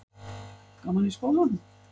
Gaman í skólanum?